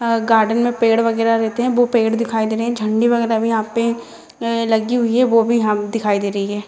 अ garden मे पेड़ वगेरा रहते है वो पेड़ दिखाई दे रही है झंडी वगेरा भी यहाँ पे अ लगी हुई है वो भी हम दिखाई दे रही है |